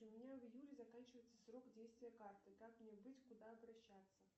у меня в июле заканчивается срок действия карты как мне быть куда обращаться